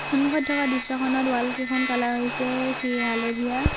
সন্মুখত থকা দৃশ্যখনত ৱাল কেইখন কালাৰ হৈছে সেই হালধীয়া।